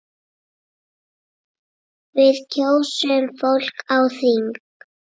Við kjósum fólk á þing.